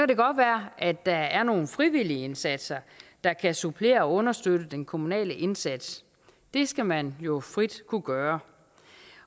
det godt være at der er nogle frivillige indsatser der kan supplere og understøtte den kommunale indsats det skal man jo frit kunne gøre